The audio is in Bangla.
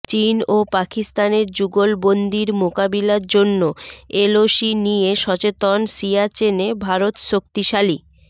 চীন ও পাকিস্তানের যুগলবন্দীর মোকাবিলার জন্য এলওসি নিয়ে সচেতন সিয়াচেনে ভারত শক্তিশালী